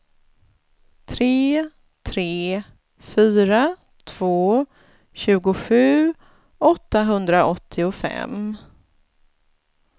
tre tre fyra två tjugosju åttahundraåttiofem